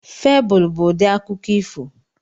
Febụl bụ ụdị akụkọ ifo.